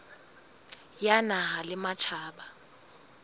ya naha le ya matjhaba